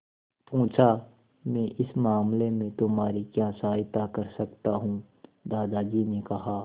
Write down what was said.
पूछा मैं इस मामले में तुम्हारी क्या सहायता कर सकता हूँ दादाजी ने कहा